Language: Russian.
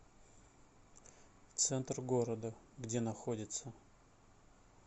центр города где находится